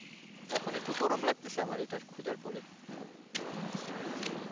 এখন একটু গরম লাগতেসে এটা খুজার পরে